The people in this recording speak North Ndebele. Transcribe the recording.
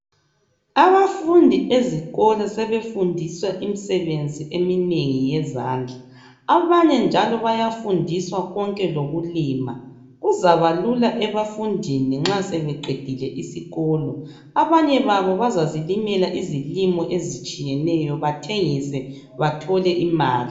Abafundi ezikolo sebefundiswa imisebenzi eminengi yezandla. Abanye njalo bayafundiswa konke lokulima kuzabalula ebafundini nxa sebeqedile isikolo. Abanye babo bazazilimela izilimo ezitshiyeneyo bathengise bathole imali.